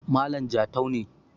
Malam jatau ne